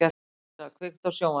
Lovísa, kveiktu á sjónvarpinu.